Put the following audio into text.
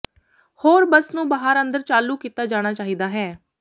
ਹੋਰ ਬੱਸ ਨੂੰ ਬਾਹਰ ਅੰਦਰ ਚਾਲੂ ਕੀਤਾ ਜਾਣਾ ਚਾਹੀਦਾ ਹੈ